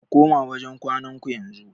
Ku koma wajen kwanan ku yanzu.